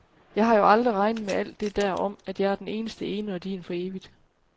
Jeg har jo aldrig regnet med alt det der om, at jeg er den eneste ene og din for evigt.